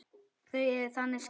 Þau eru þannig skipuð.